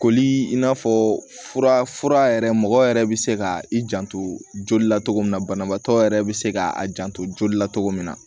Koli in n'a fɔ fura yɛrɛ mɔgɔ yɛrɛ bɛ se ka i janto joli la cogo min na banabaatɔ yɛrɛ bɛ se ka a janto joli la cogo min na